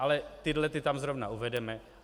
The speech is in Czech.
Ale tyhle tam zejména uvedeme.